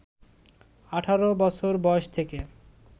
১৮ বছর বয়স থেকে